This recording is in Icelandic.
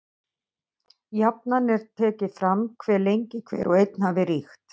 Jafnan er tekið fram hve lengi hver og einn hafi ríkt.